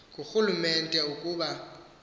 ngu rhulumente ukuba